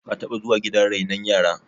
ka taba zuwa gidan renon yara